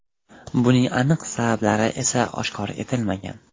Buning aniq sabablari esa oshkor etilmagan.